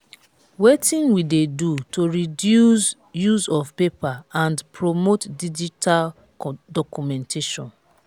wetin we dey do to reduce use of paper and promote digital documentation?